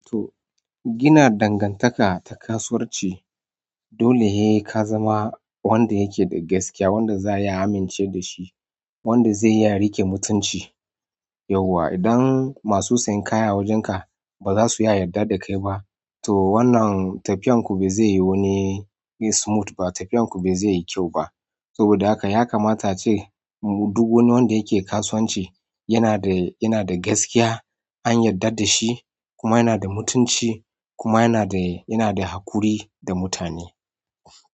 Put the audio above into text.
To gina dangantaka ta kasuwanci dole ne ka zama wanda yake da gaskiya, wanda za a iya amince da shi, wanda zai iya riƙe mutunci. Yauwa idan masu sayan kaya a wajenka ba za su iya yarda da kai ba to wannan tafiyan ku bai zai yi wani smooth ba tafiyan ku bai zai yi kyau ba. Saboda haka ya kamata a ce duk wani wanda yake kasuwanci yana da gaskiya, an yarda da shi kuma yana da mutunci kuma yana da, yana da haƙuri da mutane.